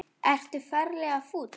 Ertu ferlega fúll?